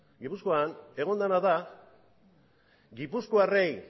gipuzkoan egon dena da gipuzkoarrei